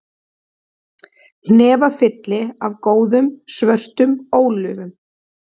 Hnefafylli af góðum, svörtum ólífum